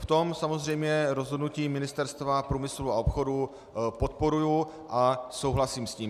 V tom samozřejmě rozhodnutí Ministerstva průmyslu a obchodu podporuji a souhlasím s tím.